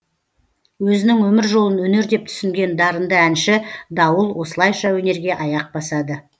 өзінің өмір жолын өнер деп түсінген дарынды әнші дауыл осылайша өнерге аяқ басады